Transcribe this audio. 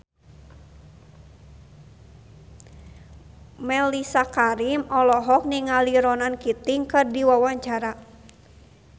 Mellisa Karim olohok ningali Ronan Keating keur diwawancara